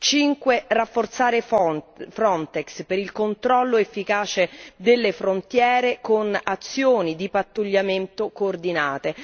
5 Rafforzare Frontex per il controllo efficace delle frontiere con azioni di pattugliamento coordinate.